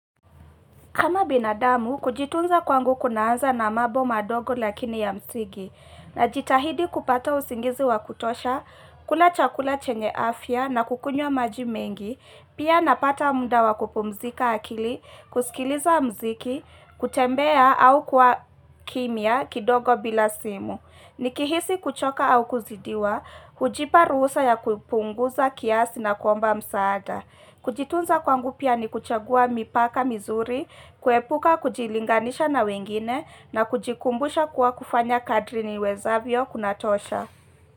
Kama binadamu, kujitunza kwangu kunaanza na mambo madogo lakini ya msingi, na jitahidi kupata usingizi wakutosha, kula chakula chenye afya na kukunywa majimengi, pia napata muda wakupumzika akili, kusikiliza mziki, kutembea au kuwa kimya kidogo bila simu. Nikihisi kuchoka au kuzidiwa, hujipa ruhusa ya kupunguza kiasi na kuomba msaada. Kujitunza kwangu pia ni kuchagua mipaka mizuri, kuepuka kujilinganisha na wengine na kujikumbusha kuwa kufanya kadri ni wezavyo kunatosha.